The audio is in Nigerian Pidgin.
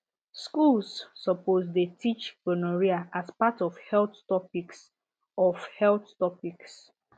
schools suppose dey teach gonorrhea as part of health topics of health topics